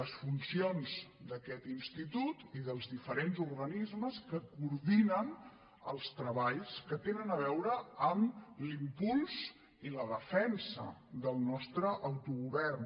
les funcions d’aquest institut i dels diferents organismes que coordinen els treballs que tenen a veure amb l’impuls i la defensa del nostre autogovern